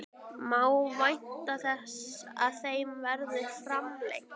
Má vænta þess að þeim verði framlengt?